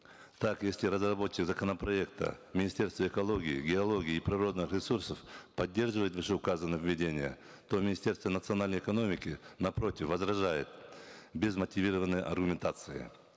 так если разработчик законопроекта министерсво экологии геологии и природных ресурсов поддерживает вышеуказанные введения то министерство национальной экономики напротив возражает без мотивированной аргументации